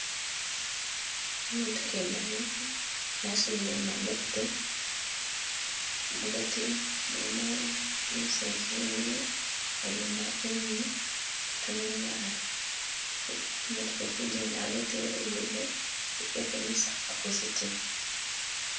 Imotoka iye daina yasudile madoto mugati mulimo umuseza emile na gundi akonele kutundubali imotoka ili kujenda agati we lugudo ilikako misaala ku zitibo